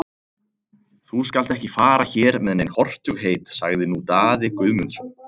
Þú skalt ekki fara hér með nein hortugheit, sagði nú Daði Guðmundsson.